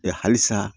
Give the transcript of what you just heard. halisa